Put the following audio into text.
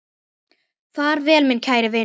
Far vel, minn kæri vinur.